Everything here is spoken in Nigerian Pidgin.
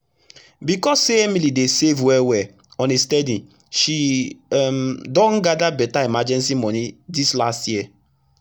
becos say emily dey save well well on a steady she um don gada beta emergency moni dis last year